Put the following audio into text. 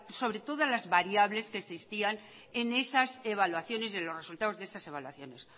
sobre todas las variables que existían en esas evaluaciones de los resultados de esas evaluaciones